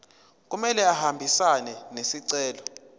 kumele ahambisane nesicelo